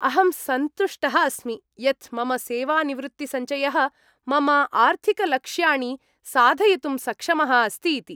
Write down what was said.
अहं सन्तुष्टः अस्मि यत् मम सेवानिवृत्तिसञ्चयः मम आर्थिकलक्ष्याणि साधयितुं सक्षमः अस्ति इति।